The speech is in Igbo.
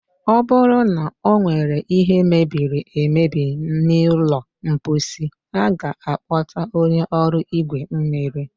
ọ bụrụ na ọ nwere ihe mebiri emebi n'ụlọ mkposi, a ga-akpọta onye ọrụ igwe mmiri.